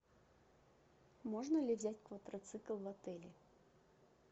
можно ли взять квадроцикл в отеле